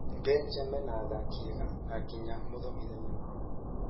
Belgium mena athaki ega, na nginya mũthomithania mwega